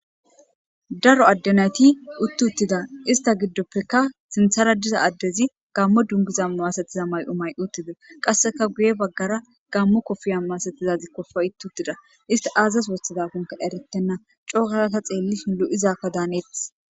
daro addenayti utti uttida ista giddoppeka sinthara diza addezi gammo dungiza masatiza may'o may'i utides, qasseka guye baggara gammo kofiya maasatizazi kofa utti uttida ista aazas wothtidakonka eretenna cookarata xeellishi lo'izaka daaneetes.